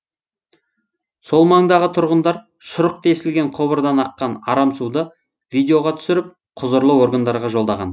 сол маңдағы тұрғындар шұрық тесілген құбырдан аққан арам суды видеоға түсіріп құзырлы органдарға жолдаған